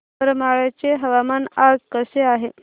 करमाळ्याचे हवामान आज कसे आहे